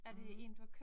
Mh